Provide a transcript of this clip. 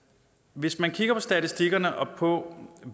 hvis man kigger på statistikkerne og på